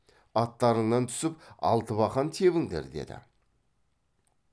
аттарыңнан түсіп алтыбақан тебіңдер деді